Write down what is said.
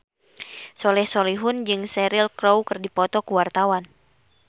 Soleh Solihun jeung Cheryl Crow keur dipoto ku wartawan